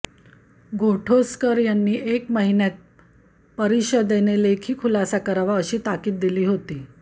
गोठोसकर यांनी एक महिन्यात परिषदेने लेखी खुलासा करावा अशी ताकिद दिली होती